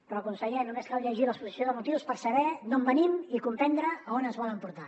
però conseller només cal llegir l’exposició de motius per saber d’on venim i comprendre on ens volen portar